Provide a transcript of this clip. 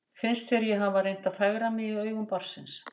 Finnst þér ég hafa reynt að fegra mig í augum barnsins?